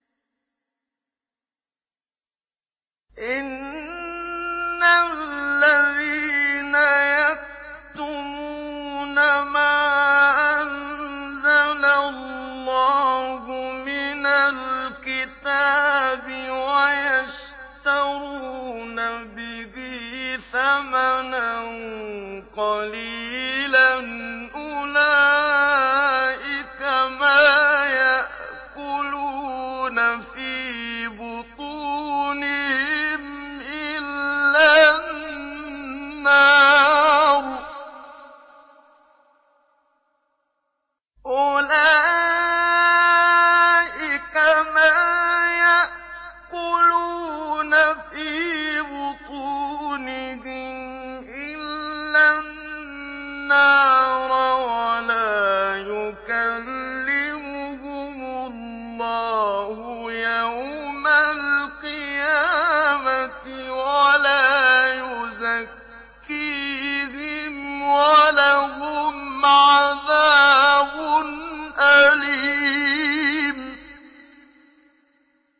إِنَّ الَّذِينَ يَكْتُمُونَ مَا أَنزَلَ اللَّهُ مِنَ الْكِتَابِ وَيَشْتَرُونَ بِهِ ثَمَنًا قَلِيلًا ۙ أُولَٰئِكَ مَا يَأْكُلُونَ فِي بُطُونِهِمْ إِلَّا النَّارَ وَلَا يُكَلِّمُهُمُ اللَّهُ يَوْمَ الْقِيَامَةِ وَلَا يُزَكِّيهِمْ وَلَهُمْ عَذَابٌ أَلِيمٌ